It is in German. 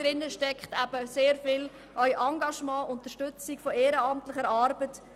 Dahinter steckt sehr viel Engagement und Unterstützung durch ehrenamtliche Arbeit.